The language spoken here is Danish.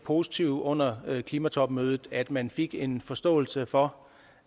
positive under klimatopmødet at man fik en forståelse for